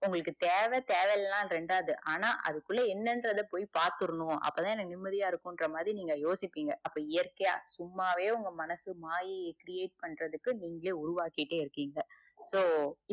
உங்களுக்கு தேவ தேவயில்லனா ரெண்டாது ஆனா அதுக்குள்ள என்னன்றது போய் பாத்தர்னு அப்பத்தா எனக்கு நிம்மதியா இருக்கும் இன்றமாதிரி நீங்க யோசிப்பிங்க அப்ப இயற்க்கைய சும்மாவே உங்க மனசு மாயேய் create பண்றதுக்கு நீங்களே உருவாய்கிட்டே இருக்கீங்க so